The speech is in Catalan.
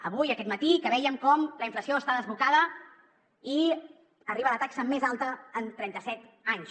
avui aquest matí que vèiem com la inflació està desbocada i arriba a la taxa més alta en trenta set anys